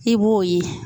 I b'o ye